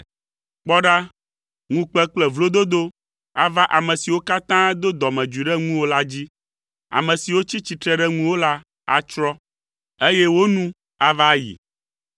“Kpɔɖa, ŋukpe kple vlododo ava ame siwo katã do dɔmedzoe ɖe ŋuwò la dzi, ame siwo tsi tsitre ɖe ŋuwò la atsrɔ̃, eye wo nu ava ayi.